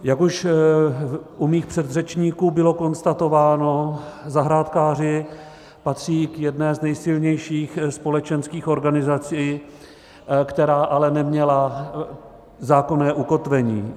Jak už u mých předřečníků bylo konstatováno, zahrádkáři patří k jedné z nejsilnější společenských organizací, která ale neměla zákonné ukotvení.